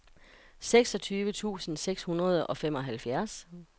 seksogtyve tusind seks hundrede og femoghalvfjerds